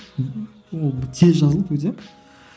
ол тез жазылды өте